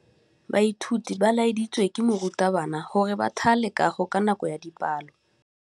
Baithuti ba laeditswe ke morutabana gore ba thale kagô ka nako ya dipalô.